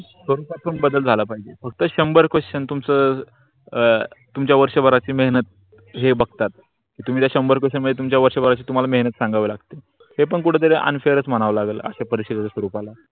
स्वरुपात बदल झाला पाहिजे फक्त शंबर question तुम्ह्च अ तुम्ह्च्या वर्षा भाराची मेहनत हे बघतात तुम्ही त्या शंबर पेक्षा तुम्ह्च्या वर्षा भाराची तुम्हाला मेहनत सांगावी लागते. ते पण कुट तरी unfair म्हणाव लागल आशा परीक्षा देत स्वरूपाला